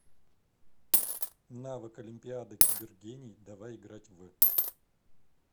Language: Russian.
навык олимпиада кибергений давай играть в